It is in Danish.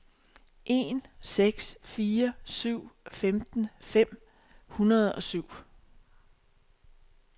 en seks fire syv femten fem hundrede og syv